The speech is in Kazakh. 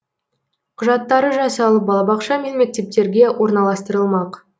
құжаттары жасалып балабақша мен мектептерге орналастырылмақ